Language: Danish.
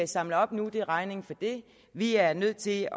samler op nu nemlig regningen for det vi er nødt til